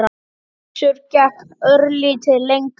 Össur gekk örlítið lengra.